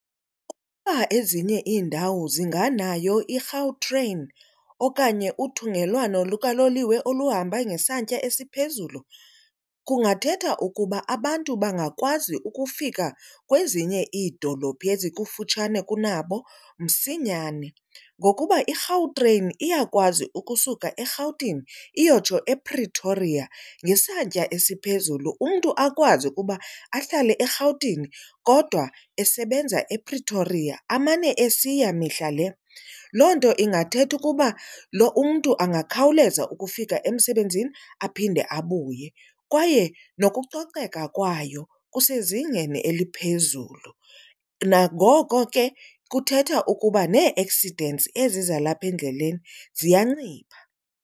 Ukuba ezinye iindawo zinganayo iGautrain okanye uthungelwano lukaloliwe oluhamba ngesantya esiphezulu kungathetha ukuba abantu bangakwazi ukufika kwezinye iidolophi ezikufutshane kunabo msinyane. Ngokuba iGautrain iyakwazi ukusuka eRhawutini iyotsho ePretoria ngesantya esiphezulu, umntu akwazi ukuba ahlale eRhawutini kodwa esebenza ePretoria amane esiya mihla le. Loo nto ingathetha ukuba lo umntu angakhawuleza ukufika emsebenzini aphinde abuye kwaye nokucoceka kwayo kusezingeni eliphezulu. Nangoko ke kuthetha ukuba nee-accidents ezi zalapha endleleni ziyancipha.